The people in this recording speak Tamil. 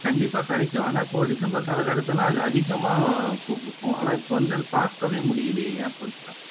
கண்டிப்பா கிடைக்கும் ஆனா இப்போ டிசம்பர் காலக்கட்டத்துல எல்லாம் அது அதிகமா பூ பூக்கும் ஆனா இப்போ வந்து அது பாக்கவே முடியலையே ஏன் பவித்ரா